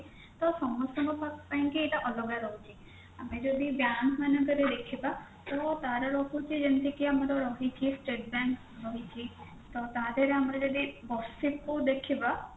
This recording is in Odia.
ତ ସମସ୍ତଙ୍କ ପାଇଁ କି ଏଇଟା ଅଲଗ ରହୁଛି ଆମେ ଯଦି bank ମାନଙ୍କରେ ଦେଖିବା ତ ତାର ରହୁଛି ଯେମିତି କି ଆମର state bank ରହିଛି ତ ତାଦେହେରେ ଆମେ ଯଦି ବର୍ଷକୁ ଦେଖିବା